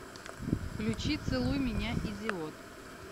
включи целуй меня идиот